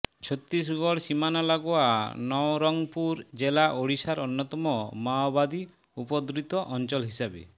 ছত্তিশগড় সীমানা লাগোয়া নওরংপুর জেলা ওড়িশার অন্যতম মাওবাদী উপদ্রুত অঞ্চল হিসেবে